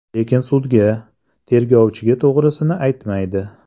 Lekin sudga, tergovchiga to‘g‘risini aytmaydi.